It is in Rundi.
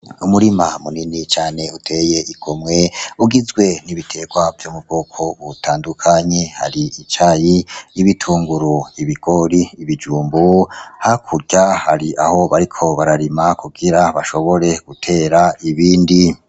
Umurima munini cane utey'igomwe ugizwe n'ibiterwa vyo mubwoko butandukanye :icayi, ibitunguru, ibigori, ibijumbu hakurya har'aho bariko bararima kugira bashobore guter'ibindi.